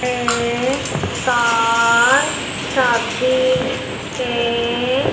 ये कार शादी के--